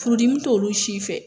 Furudimi t'olu si fɛ.